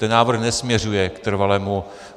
Ten návrh nesměřuje k trvalému...